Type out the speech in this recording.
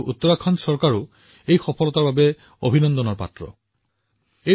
উত্তৰাখণ্ড চৰকাৰো ইয়াৰ বাবে অভিনন্দনৰ বিষয় কিয়নো ই এটা অতিশয় কঠিন এলেকা